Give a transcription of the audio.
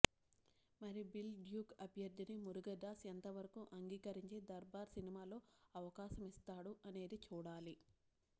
మరి బిల్ డ్యూక్ అభ్యర్థిని మురుగదాస్ ఎంతవరకు అంగీకరించి దర్బార్ సినిమాలో అవకాశం ఇస్తాడు అనేది చూడాలి